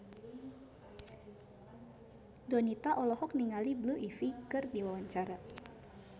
Donita olohok ningali Blue Ivy keur diwawancara